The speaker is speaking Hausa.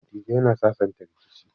Dattijai na sasanta rikici.